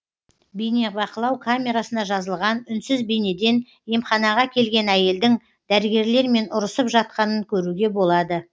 бейнебақылау камерасына жазылған үнсіз бейнеден емханаға келген әйелдің дәрігерлермен ұрысып жатқанын көруге болады